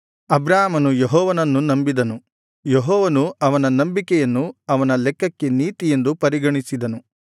ಅಬ್ರಾಮನು ಯೆಹೋವನನ್ನು ನಂಬಿದನು ಯೆಹೋವನು ಅವನ ನಂಬಿಕೆಯನ್ನು ಅವನ ಲೆಕ್ಕಕ್ಕೆ ನೀತಿಯೆಂದು ಪರಿಗಣಿಸಿದನು